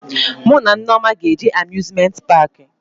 Mụ na Nneoma ga-eje Amuzmenti paakị